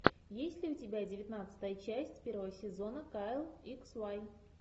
есть ли у тебя девятнадцатая часть первого сезона кайл икс вай